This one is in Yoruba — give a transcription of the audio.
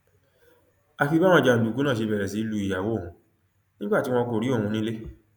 àfi báwọn jàǹdùkú náà ṣe bẹrẹ sí í lu ìyàwó òun nígbà tí wọn kò rí òun nílé